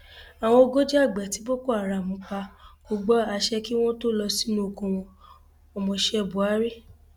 àwọn ogójì àgbẹ tí boko haram pa kò gba àṣẹ kí wọn tóó lọ sínú oko wọn ọmọọṣẹ buhari